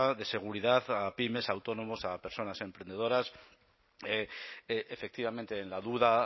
de seguridad a pymes autónomos a personas emprendedoras efectivamente en la duda